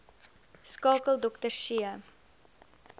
skakel dr c